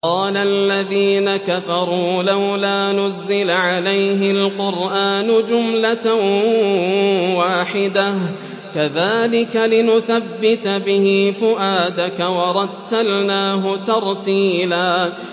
وَقَالَ الَّذِينَ كَفَرُوا لَوْلَا نُزِّلَ عَلَيْهِ الْقُرْآنُ جُمْلَةً وَاحِدَةً ۚ كَذَٰلِكَ لِنُثَبِّتَ بِهِ فُؤَادَكَ ۖ وَرَتَّلْنَاهُ تَرْتِيلًا